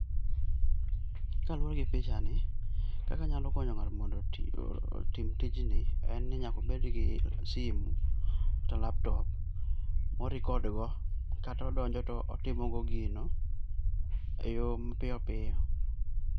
ka luore gi picha ni kaka anyalo konyo ng'ato mondo otim tij ni en ni nyaka obed gi simu kata laptop ma orecord go kata odonjo to otimo go gino e yo mapiyopiyo.